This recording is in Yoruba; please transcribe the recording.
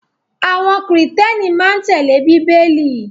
Àwọn Kìrìtẹ́ẹ́nì máa ń tẹ́lẹ̀ Bíbélì.